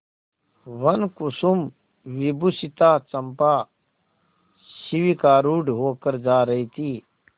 वनकुसुमविभूषिता चंपा शिविकारूढ़ होकर जा रही थी